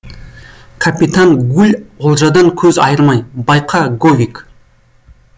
капитан гуль олжадан көз айырмай байқа говик